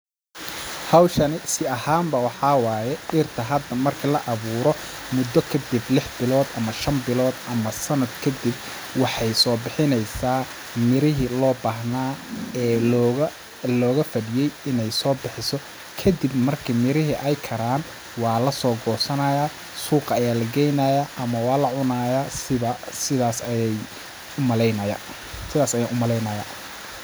Hawshani si ahaan ba waxaa waaye dhirta marki la awuuro mudda kadib lix bilood ama shan bilood ama sanad kadib waxeey soo bixineysaa mirihi loo baahnaa ee looga ,looga fadhiyay ineey soo bixiso ,kadib marki mirihi ay karaan waa lasoo gosanayaa suuqa ayaa la geynayaa ama waa la cunayaa sida,,sidaas ayaan u maleynayaa.